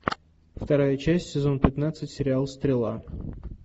вторая часть сезон пятнадцать сериал стрела